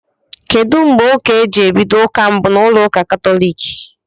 Kedụ mgbe ụka eji ebido ụka mbụ na ụlọ ụka katólik?